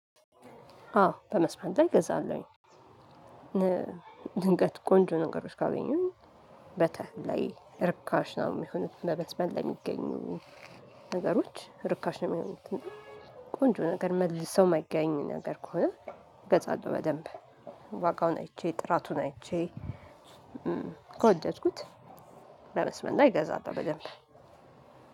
አዎ ከመስመር ላይ እገዛለሁ። ድንገት ቆንጆ ነገሮች ካገኘሁ። ርካሽ ነው የሚሆኑት መስመር ላይ የሚገኙ ነገሮች ርካሽ ነው የሚሆኑት። ቆንጆ ነገር መልሰው የማይገኝ ነገር ከሆነ እገዛለሁ በደንብ። ዋጋውን አይቼ ጥራቱን አይቼ ከወደድኩት። ከመስመር ላይ እገዛለሁ በደንብ